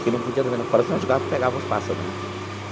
que não podia dormir lá fora, senão os gatos pegavam os pássaro né.